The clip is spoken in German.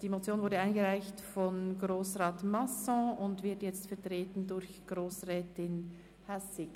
Die Motion wurde von Grossrat Masson eingereicht und wird jetzt durch Grossrätin Hässig vertreten.